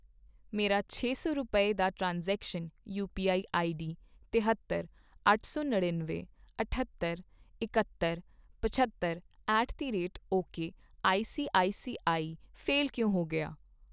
ਮੇਰਾ ਛੇ ਸੌ ਰੁਪਏ, ਦਾ ਟ੍ਰਾਂਸਜ਼ੇਕਸ਼ਨਜ਼, ਯੂਪੀਆਈ ਆਈਡੀ ਤਹੇਤਰ, ਅੱਠ ਸੌ ਨੜ੍ਹਿਨਵੇਂ, ਅਠੱਤੀ, ਇਕਹਤਰ, ਪਝੱਤਰ at the rate okay I C I C I fail ਕਿਉਂ ਹੋ ਗਿਆ ?